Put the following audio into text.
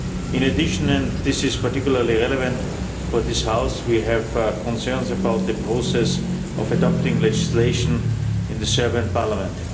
In addition, and this is particularly relevant for this House, we have concerns about the process of adopting legislation in the Serbian Parliament.